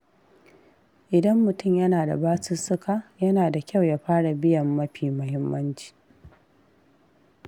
Idan mutum yana da basussuka, yana da kyau ya fara biyan mafi muhimmanci.